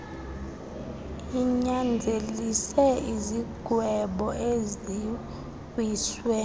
linyanzelise izigwebo eziwiswe